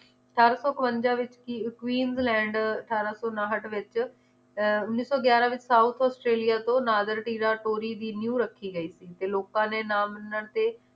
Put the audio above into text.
ਅਠਾਰਾਂ ਸੌ ਕਵੰਜਾ ਵਿਚ ਕੀ~ queensland ਅਠਾਰਾਂ ਸੋਨਾਹਟ ਵਿਚ ਅਹ ਉੱਨੀ ਸੌ ਗਿਆਰਾਂ ਵਿਚ ਆਸਟ੍ਰੇਲੀਆ ਤੋਂ ਨਾਦਰ ਟੀਜ਼ਾ ਟੋਰੀ ਦੀ ਨ੍ਯੂ ਰੱਖੀ ਗਈ ਸੀ ਤੇ ਲੋਕਾਂ ਨੇ ਨਾਮ ਨ ਤੇ